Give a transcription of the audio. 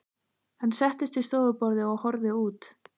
Hann settist við stofuborðið og horfði út.